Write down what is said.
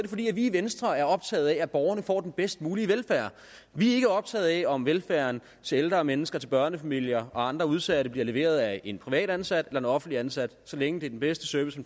fordi vi i venstre er optaget af at borgerne får den bedst mulige velfærd vi er ikke optaget af om velfærden til ældre mennesker til børnefamilier og andre udsatte bliver leveret af en privat ansat eller en offentligt ansat så længe det er den bedste service